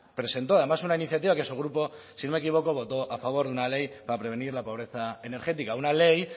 presentó además una iniciativa que su grupo si no me equivoco votó a favor de una ley para prevenir la pobreza energética una ley